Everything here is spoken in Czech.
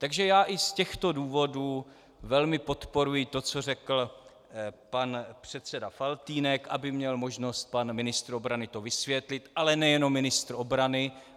Takže já i z těchto důvodů velmi podporuji to, co řekl pan předseda Faltýnek, aby měl možnost pan ministr obrany to vysvětlit, ale nejenom ministr obrany.